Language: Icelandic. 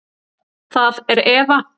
Það er Eva.